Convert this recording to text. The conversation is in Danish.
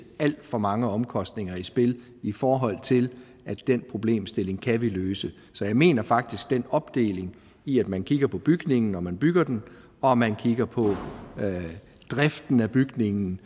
alt for mange omkostninger i spil i forhold til at den problemstilling kan vi løse så jeg mener faktisk at den opdeling i at man kigger på bygningen når man bygger den og at man kigger på driften af bygningen